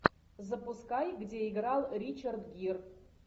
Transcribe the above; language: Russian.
запускай где играл ричард гир